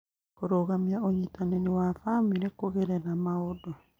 Kũrũgamia ũnyitanĩri wa bamĩrĩ kũgerera maũndũ